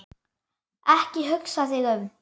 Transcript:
Ekki hugsa þig um.